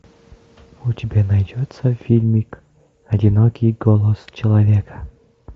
у тебя найдется фильмик одинокий голос человека